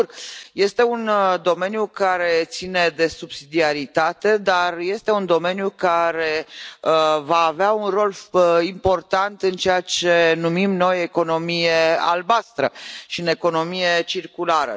Sigur, este un domeniu care ține de subsidiaritate, dar este un domeniu care va avea un rol important în ceea ce numim noi economia albastră și în economia circulară.